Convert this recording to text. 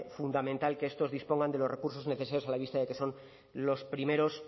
fundamental que estos dispongan de los recursos necesarios a la vista de que son los primeros